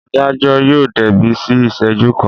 Adájọ́ yóò débí ní ìṣẹ́jú kan.